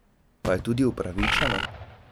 Pa je tudi upravičeno?